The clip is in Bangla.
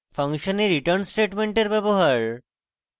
function a return স্টেটমেন্টের ব্যবহার